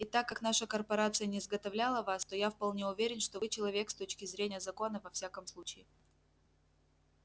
и так как наша корпорация не изготовляла вас то я вполне уверен что вы человек с точки зрения закона во всяком случае